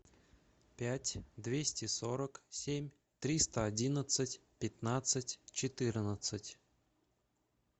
пять двести сорок семь триста одиннадцать пятнадцать четырнадцать